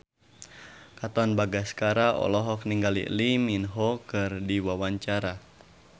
Katon Bagaskara olohok ningali Lee Min Ho keur diwawancara